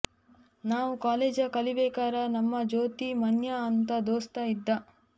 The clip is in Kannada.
ನಾವು ಕಾಲೇಜ ಕಲಿಬೇಕಾರ ನಮ್ಮ ಜೊತಿ ಮನ್ಯಾ ಅಂತ ದೋಸ್ತ ಇದ್ದಾ